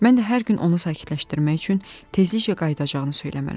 Mən də hər gün onu sakitləşdirmək üçün tezliklə qayıdacağını söyləməli oluram.